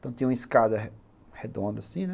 Então tinha uma escada redonda assim, né?